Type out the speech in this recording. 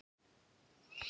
Elsku pabbi litli.